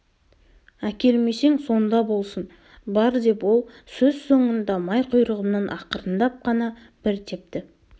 әкелмесең сонда болсын бар деп ол сөз соңында май құйрығымнан ақырындап қана бір тепті